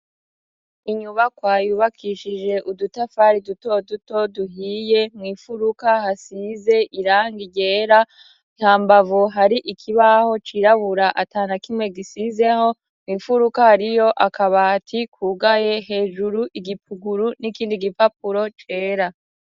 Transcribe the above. Inyubakwa yubakishije udutafari dutoduto duhiye, mw'imfuruka hasize irangi ryera, ha mbavu hari ikibaho cirabura atana kimwe gisizeho, mw'imfuruka hariyo akabati kugaye hejuru igipuguru n'ikindi gipapuro cera.